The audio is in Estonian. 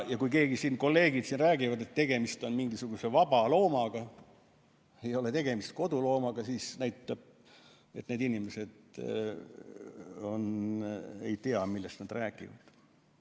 Kui kolleegid siin räägivad, et tegemist on mingisuguse vaba loomaga, et ei ole tegemist koduloomaga, siis see näitab, et need inimesed ei tea, millest nad räägivad.